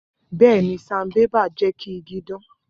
Bẹẹni, sanbébà jẹ ki igi dan.